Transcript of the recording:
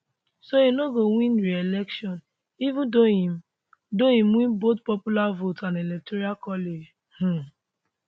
so e no go win reelection even though im though im win both popular vote and electoral college um